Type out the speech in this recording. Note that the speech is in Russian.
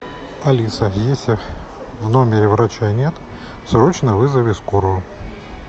алиса если в номере врача нет срочно вызови скорую